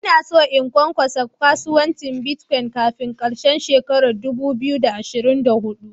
Ina son in kunkasa kasuwancin " Bitcoin" kafin karshen shekaran dubu biyu da ashirin da hudu.